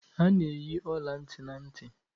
A na-eyi ọla ntị na ntị